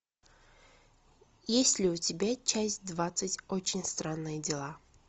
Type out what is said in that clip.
есть ли у тебя часть двадцать очень странные дела